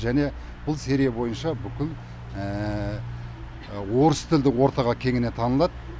және бұл серия бойынша бүкіл орыс тілді ортаға кеңінен танылады